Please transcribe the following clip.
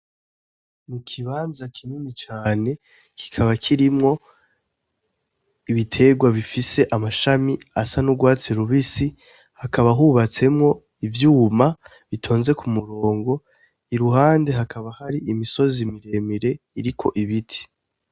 Ni ikibanza kinini cane kikaba kirimwo ibiterwa bifise amashami asa n'urwatsi rubisi hakaba hubatsemwo ivyuma bitonze ku murongo iruhande hakaba hari imisozi miremire iriko ibiti.